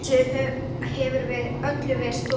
Þessu hefur öllu verið stolið!